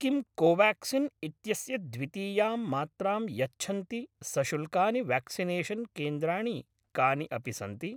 किं कोवाक्सिन् इत्यस्य द्वितीयां मात्रां यच्छन्ति सशुल्कानि व्याक्सिनेषन् केन्द्राणि कानि अपि सन्ति?